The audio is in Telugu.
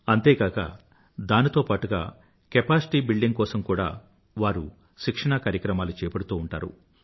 అంతేకాక దానితో పాటుగా కెపాసిటీ బిల్డింగ్ కోసం కూడా వారు శిక్షణా కార్యక్రమాలు చేపడుతూ ఉంటారు